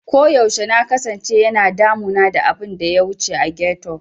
Koyaushe na kasance yana damuna da abin da ya wuce a ghetto.